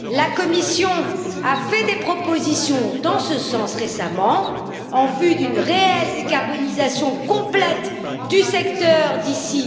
La Commission a fait des propositions dans ce sens récemment en vue d'une réelle décarbonisation complète du secteur d'ici